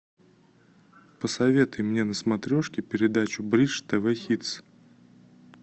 посоветуй мне на смотрешке передачу бридж тв хитс